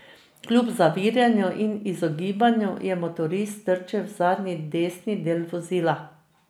Kljub zaviranju in izogibanju je motorist trčil v zadnji desni del vozila.